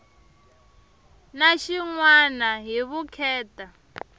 na xin wana hi vukheta